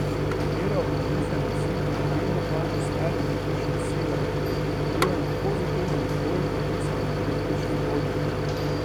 Katera od narisanih sil pravilno kaže smer električne sile, ki deluje na pozitivni naboj v narisanem električnem polju?